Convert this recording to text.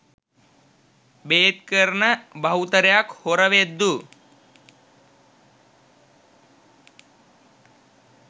බේත් කරන බහුතරයක් හොර වෙද්දු